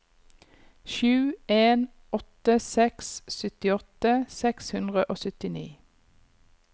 sju en åtte seks syttiåtte seks hundre og syttini